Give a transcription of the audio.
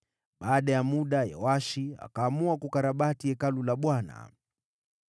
Baada ya muda, Yoashi akaamua kukarabati Hekalu la Bwana .